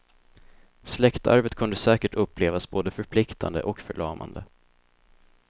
Släktarvet kunde säkert upplevas både förpliktande och förlamande.